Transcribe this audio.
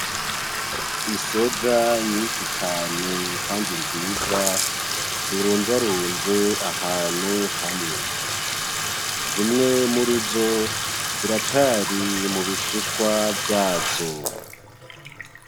Isoja nyinshi cane kandi nziza, zironzaronze ahantu hamwe. Zimwe murizo ziracari mubishishwa vyazo.